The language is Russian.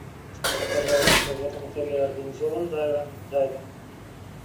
скажи пожалуйста в этом отеле организован дайвинг